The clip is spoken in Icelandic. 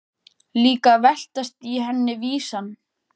Líka að veltast í henni vísan.